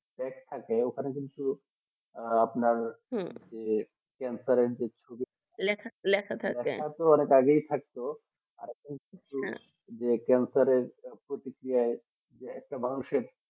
তো আমি কিন্তু আর আপনার হু যে ক্যান্সার যে লেখা থাকবে লেখা তো অনেক আগেই থাকতো যে একটা ক্যান্সারে প্রতিক্রি একটা মানুষের